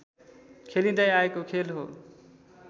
खेलिँदै आएको खेल हो